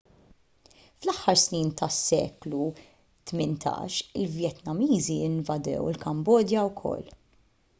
fl-aħħar snin tas-seklu 18 il-vjetnamiżi invadew il-kambodja wkoll